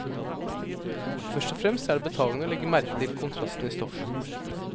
Først og fremst er det betagende å legge merke til kontrastene i stoffet.